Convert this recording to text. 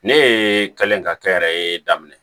Ne ye kɛlen ka kɛ n yɛrɛ ye daminɛ